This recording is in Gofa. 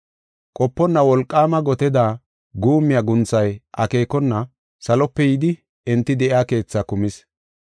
Qoponna wolqaama goteda guummiya guunthay akeekona salope yidi enti de7iya keetha kumis.